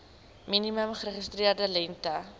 minimum geregistreerde lengte